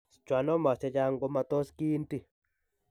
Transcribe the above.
Schwannomas chechang' komatos kiinti.